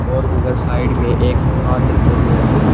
और उधर साइड में एक मकान दिखाई दे रहा है।